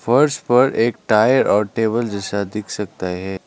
फर्श पर एक टायर और टेबल जैसा दिख सकता है।